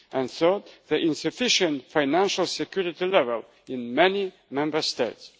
and third, the insufficient financial security level in many Member States.